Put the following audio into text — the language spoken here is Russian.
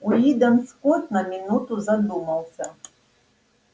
уидон скотт на минуту задумался